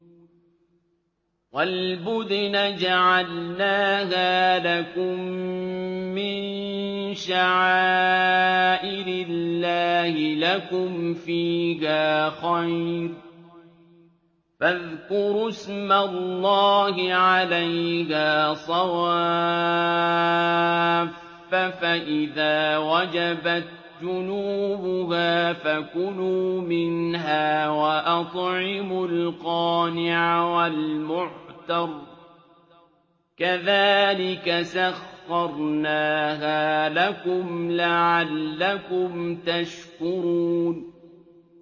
وَالْبُدْنَ جَعَلْنَاهَا لَكُم مِّن شَعَائِرِ اللَّهِ لَكُمْ فِيهَا خَيْرٌ ۖ فَاذْكُرُوا اسْمَ اللَّهِ عَلَيْهَا صَوَافَّ ۖ فَإِذَا وَجَبَتْ جُنُوبُهَا فَكُلُوا مِنْهَا وَأَطْعِمُوا الْقَانِعَ وَالْمُعْتَرَّ ۚ كَذَٰلِكَ سَخَّرْنَاهَا لَكُمْ لَعَلَّكُمْ تَشْكُرُونَ